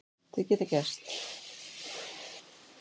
Þau geta gerst.